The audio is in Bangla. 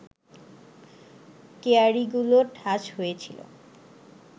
কেয়ারিগুলো ঠাস হয়ে ছিল